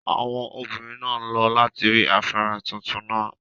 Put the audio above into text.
Àwọn obìnrin naa n lo lati rí afárá tuntun náà.